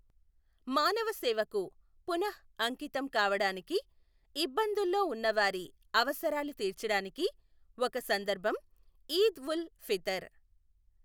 మానవ సేవకు పునఃఅంకితం కావడానికి, ఇబ్బందుల్లో ఉన్నవారి అవసరాలు తీర్చడానికి ఒక సందర్భం ఈద్ ఉల్ ఫితర్.